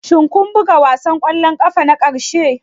Shin kun buga wasan ƙwallon ƙafa na ƙarshe?